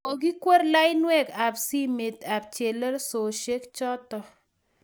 kokikwer lainwek ab simet ab chelososhek chotok